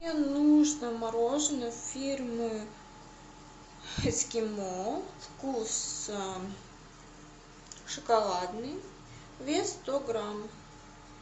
мне нужно мороженое фирмы эскимо вкус шоколадный вес сто грамм